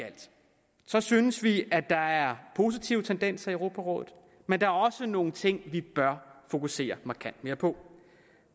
så synes vi at der er positive tendenser i europarådet men der er også nogle ting vi bør fokusere markant mere på